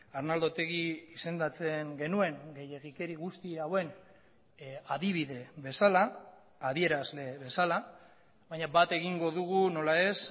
arnaldo otegi izendatzen genuen gehiegikeri guzti hauen adibide bezala adierazle bezala baina bat egingo dugu nola ez